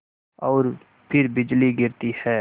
और फिर बिजली गिरती है